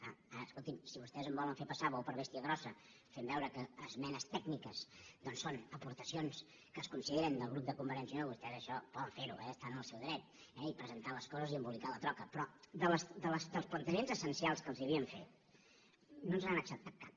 ara escolti’m si vostès em volen fer passar bou per bèstia grossa fent veure que esmenes tècniques doncs són aportacions que es consideren del grup de convergència i unió vostès això poden fer ho eh estan en el seu dret i presentar les coses i embolicar la troca però dels plantejaments essencials que els havíem fet no ens n’han acceptat cap